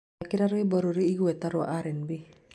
thakira rwĩmbo rurĩ igweta rwa r..n.b